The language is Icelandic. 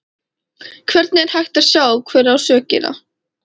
Hvernig er hægt að sjá hver á sökina?